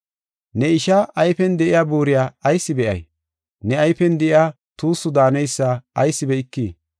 “Ne ishaa ayfen de7iya buuriya ayis be7ay? Ne ayfen de7iya tuussu daaneysa ayis be7ikii?